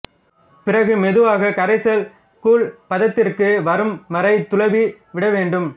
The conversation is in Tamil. பிறகு மெதுவாக கரைசல் கூழ் பதத்திற்கு வரும் வரை துழவி விடவேண்டும்